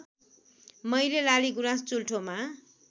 मैले लालिगुराँस चुल्ठोमा